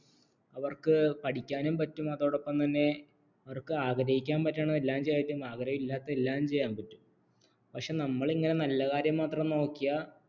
അവർക്ക് പഠിക്കാനും പറ്റും അതോടൊപ്പം തന്നെ അവർക്ക് ആഗ്രഹിക്കാൻ പറ്റണതെല്ലാം ചെയ്യാം ആഗ്രഹമില്ലാത്തത് എല്ലാം ചെയ്യാം പറ്റും പക്ഷേ നമ്മൾ ഇങ്ങനെ നല്ല കാര്യം മാത്രം നോക്കിയാൽ